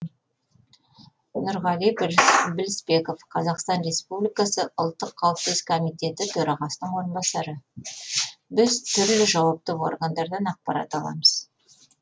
нұрғали білісбеков қазақстан республикасы ұлттық қауіпсіздік комитеті төрағасының орынбасары біз түрлі жауапты органдардан ақпарат аламыз